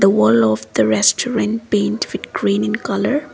one of the restaurant paint with green in colour.